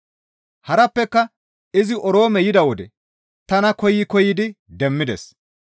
Harappeka izi Oroome yida wode tana koyi koyidi demmides.